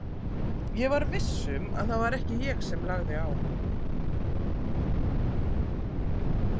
Ég var viss um að það var ekki ég sem lagði á.